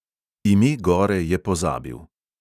Ime gore je pozabil.